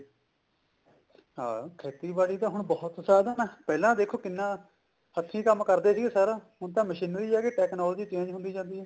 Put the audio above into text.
ਹਾਂ ਖੇਤੀਬਾੜੀ ਤਾਂ ਹੁਣ ਬਹੁਤ ਸਾਧਨ ਆ ਪਹਿਲਾਂ ਦੇਖੋ ਕਿੰਨਾ ਹੱਥੀ ਕੰਮ ਕਰਦੇ ਸੀਗੇ ਸਾਰਾ ਹੁਣ ਤਾਂ ਮਸ਼ਨਰੀ ਆਗੀ technology change ਹੁੰਦੀ ਜਾਂਦੀ ਹੈ